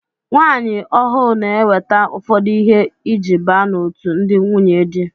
Nwaanyi ọhụụ n'eweta ụfọdụ ihe iji baa n'otu ndị nwunyedi.